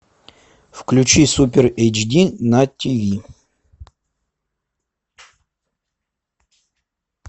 включи супер эйч ди на тв